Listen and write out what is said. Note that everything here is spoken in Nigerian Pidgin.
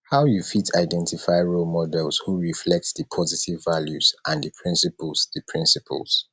how you fit identify role models who reflect di positive values and di principles di principles